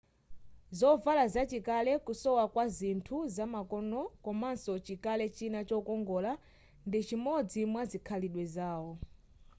zovala zachikale kusowa kwa zinthu zamakonoi komanso chikale china chokongola ndichimodzi mwazikhalidwe zawo